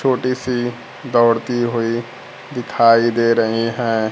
छोटी सी दौड़ती हुई दिखाई दे रहीं है।